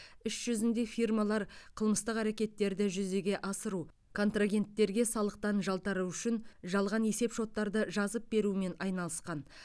іс жүзінде фирмалар қылмыстық әрекеттерді жүзеге асыру контрагенттерге салықтан жалтару үшін жалған есеп шоттарды жазып берумен айналысқан